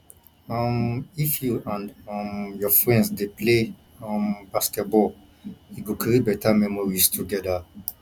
um if you and um your friends dey play um basketball e go create better memories together